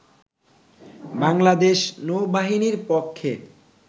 বাংলাদেশ নৌ বাহিনীর পক্ষে